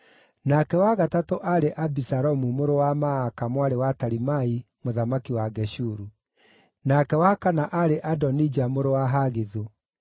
nake wa gatatũ aarĩ Abisalomu mũrũ wa Maaka mwarĩ wa Talimai mũthamaki wa Geshuru; nake wa kana aarĩ Adonija mũrũ wa Hagithu;